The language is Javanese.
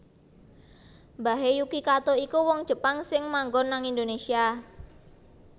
Mbahe Yuki Kato iku wong Jepang sing manggon nang Indonesia